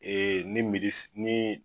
Ee ni midi ni